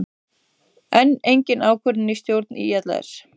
Enn engin ákvörðun í stjórn ÍLS